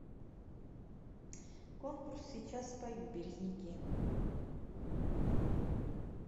конкурс сейчас спою березники